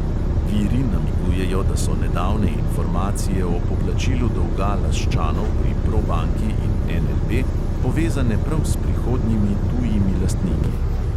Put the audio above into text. Viri namigujejo, da so nedavne informacije o poplačilu dolga laščanov pri probanki in NLB povezane prav s prihodnjimi tujimi lastniki.